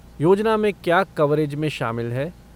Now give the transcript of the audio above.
योजना में क्या कवरेज में शामिल है?